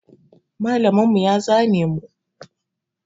Malamin mu ya zane mu.